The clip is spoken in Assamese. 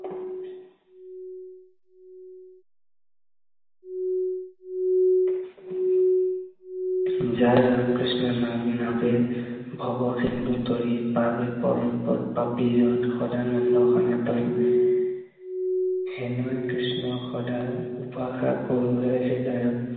যাৰ ৰাম কৃষ্ণ নাম, নাৱে ভৱ সিন্ধু তৰি, পাৱে পৰম পদ পাপী যত, সদানন্দ সনাতনে হেনয় কৃষ্ণক সদা উপাসা কৰো হৃদয়ত